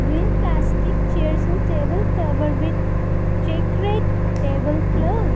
green plastic chairs and table cover with checkered table clothes.